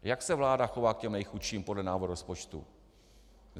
Jak se vláda chová k těm nejchudším podle návrhu rozpočtu?